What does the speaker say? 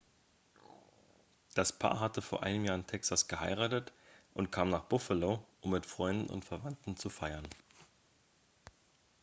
das paar hatte vor einem jahr in texas geheiratet und kam nach buffalo um mit freunden und verwandten zu feiern